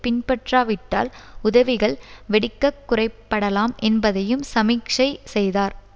பின்பற்றாவிட்டால் உதவிகள் வெடிக்க குறைப்படலாம் என்பதையும் சமிக்சை செய்தார்